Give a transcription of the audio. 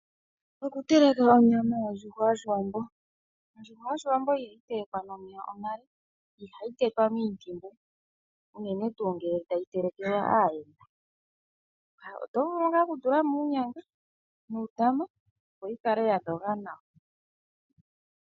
Oku teleka onyama yondjuhwa yOshiwambo. Ondjuhwa yOshiwambo iha yi telekwa nomeya omale, ihayi tetwa muntimbu unene tu ngele tayi telekelwa aayenda. Oto vulu nga oku tulamo uunyanga nuutama opo yi kale yadhoga nawa.